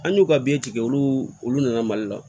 An y'u ka bi tigɛ olu nana mali la